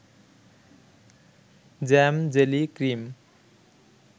jam-jelly-cream